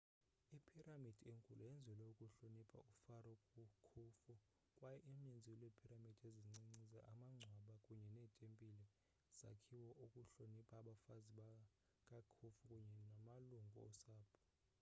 iphiramidi enkulu yenzelwe ukuhlonipha ufaro khufu kwaye uninzi lweepiramidi ezincinci amangcwaba kunye neetempile zakhiwa ukuhlonipha abafazi bakakhufu kunye namalungu osapho